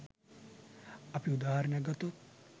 අපි උදාහරණයක් ගත්තොත්